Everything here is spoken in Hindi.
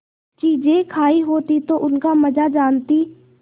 चीजें खायी होती तो उनका मजा जानतीं